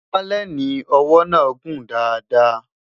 paleni owó nà gùn dá dá